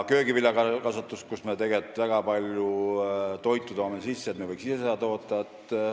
Köögiviljakasvatuses me toome väga palju toitu sisse, aga võiksime ise rohkem toota.